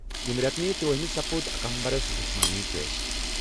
ییٚمہِ رٮ۪تہٕ تٔرٗۄہُ ہَس منٛز کوٚر اکامبرمَس جسمٲنی ٹیسٹ۔